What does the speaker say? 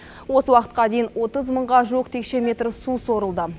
осы уақытқа дейін отыз мыңға жуық текше метр су сорылды